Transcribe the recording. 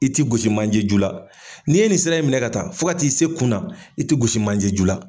I tɛ gosi manjɛ ju la, ni'i ye nin sira in minɛ ka taa fo ka t'i se kun na , i tɛ gosi manjɛ ju la.